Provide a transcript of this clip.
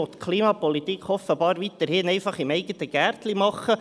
Man will die Klimapolitik offenbar weiterhin im eigenen Gärtchen betreiben.